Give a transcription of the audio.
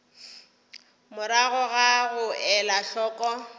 morago ga go ela hloko